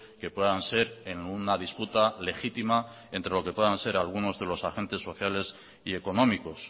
que puedan ser en una disputa legítima entre lo que puedan ser algunos de los agentes sociales y económicos